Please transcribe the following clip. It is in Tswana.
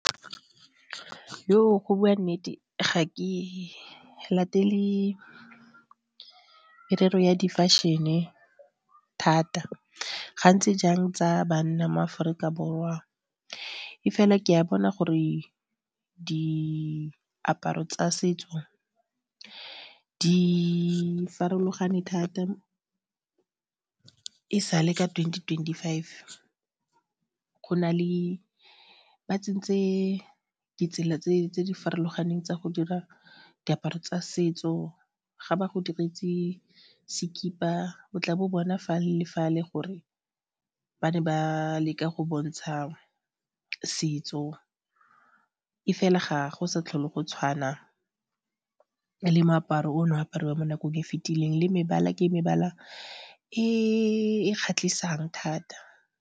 Go bua nnete ga ke latele merero ya di fashion-e thata gantsi jang tsa banna mo Aforika Borwa e fela ke a bona gore diaparo tsa setso di farologane thata e sale ka twenty twenty-five. Go na le, ba tsentse ditsela tse di farologaneng tsa go dira diaparo tsa setso ga ba go diretse sekipa o tla bo bona fale le fale gore ba ne ba leka go bontsha setso e fela ga go sa tlhole go tshwana le moaparo ono apariwa mo nakong e fitileng le mebala ke mebala e kgatlhisang thata.